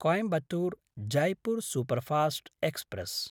Coimbatore-Jaipur superfast express